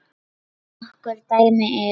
Nokkur dæmi eru